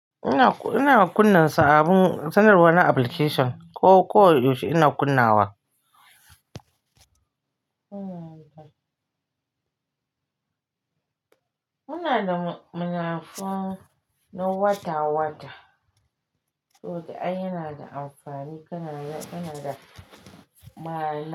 Ina kunna sa abun, sunarwa na application ko koyaushe ina kunna wa? Muna da, muna fon na wata-wata, to dai yana da amfani kana da, kana da maye.